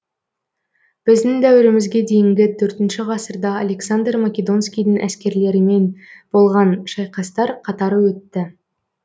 біздің дәуірімізге дейінгі төртінші ғасырда александр македонскийдің әскерлерімен болған шайқастар қатары өтті